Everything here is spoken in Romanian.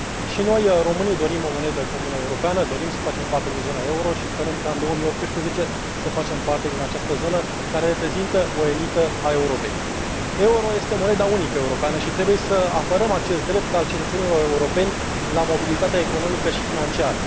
Și noi, românii, dorim o monedă comună europeană, dorim să facem parte din zona euro și sperăm ca, în 2018, să facem parte din această zonă care reprezintă o elită a Europei. Euro este moneda unică europeană și trebuie să apărăm acest drept al cetățenilor europeni la mobilitate economică și financiară.